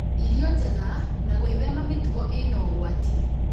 irio njega na gwĩthema mĩtugo ĩna ũgwati